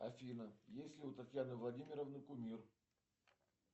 афина есть ли у татьяны владимировны кумир